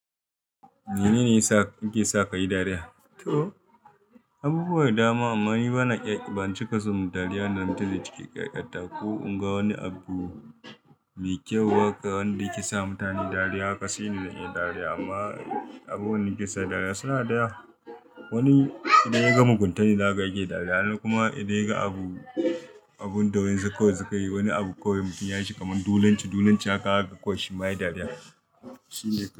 Mene ne yasa yake sa ka yi dariya? To, abubuwa da dama amma ni bana iya ban cika so. Dariya nan take cikin ƙyalƙyata ko in ga wani abu mai kyau haka wanda yake sa mutane dariya haka sai na yi dariya. Amma abun da yake sa dariya suna da yawa wani idan ya ga mugunta shi ne zaka ga yake dariya. Kuma idan ya ga abu, abun da wa insu kawai sukayi wani abu kawai mutum ya yi shi kamar dolonci. Dolonci haka zaka ga kawai shi ma yayi dariya.